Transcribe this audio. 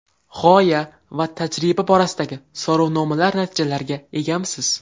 G‘oya va tajriba borasidagi so‘rovnomalar natijalariga egamisiz?